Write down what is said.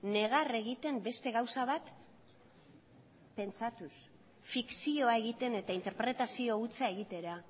negar egiten beste gauza bat pentsatuz fikzioa egiten eta interpretazio hutsa egitera